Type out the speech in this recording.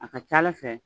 A ka ca ala fɛ